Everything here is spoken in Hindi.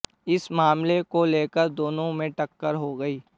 इस मामले को लेकर दोनों में टक्कर हो गई